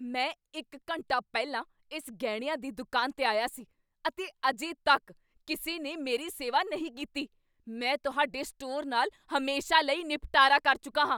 ਮੈਂ ਇੱਕ ਘੰਟਾ ਪਹਿਲਾਂ ਇਸ ਗਹਿਣਿਆਂ ਦੀ ਦੁਕਾਨ 'ਤੇ ਆਇਆ ਸੀ ਅਤੇ ਅਜੇ ਤੱਕ ਕਿਸੇ ਨੇ ਮੇਰੀ ਸੇਵਾ ਨਹੀਂ ਕੀਤੀ। ਮੈਂ ਤੁਹਾਡੇ ਸਟੋਰ ਨਾਲ ਹਮੇਸ਼ਾ ਲਈ ਨਿਪਟਾਰਾ ਕਰ ਚੁੱਕਾ ਹਾਂ।